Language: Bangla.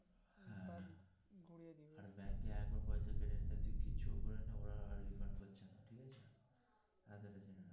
হ্যা হ্যা আর ব্যাংকার পয়সা ফেলে রাখলে কিছু না করেলে ওরা আর refund করছে না ঠিক আছে.